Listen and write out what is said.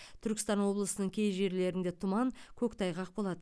түркістан облысының кей жерлерінде тұман көктайғақ болады